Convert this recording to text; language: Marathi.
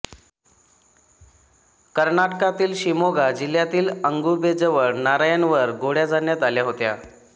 कर्नाटकातील शिमोगा जिल्ह्यातील अगुंबेजवळ नारायणवर गोळ्या झाडण्यात आल्या होत्या